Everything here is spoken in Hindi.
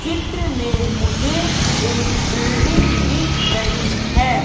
चित्र में मुझे एक बिल्डिंग दिख रही है।